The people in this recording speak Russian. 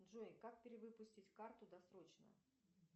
джой как перевыпустить карту досрочно